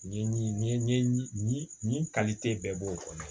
Nin ye nin ye nin nin kalite bɛɛ b'o kɔnɔ